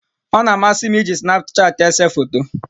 Ọ na-amasị m iji snapchat ese foto.